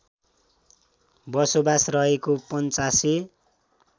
बसोबास रहेको पञ्चासे